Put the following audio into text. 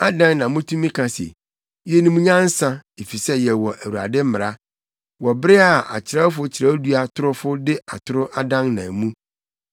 “ ‘Adɛn na mutumi ka se, “Yenim nyansa, efisɛ yɛwɔ Awurade mmara,” wɔ bere a akyerɛwfo kyerɛwdua torofo de atoro adannan mu?